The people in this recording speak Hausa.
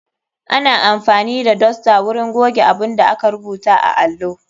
Ana amfani da dosta wurin goge abunda aka rubuta a allo.